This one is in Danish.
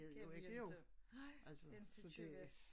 Kan vi ikke nej ikke køre